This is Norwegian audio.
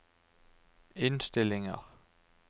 innstillinger